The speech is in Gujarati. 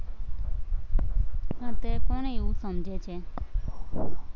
પણ અત્યારે કોણ એવું સમજે છે.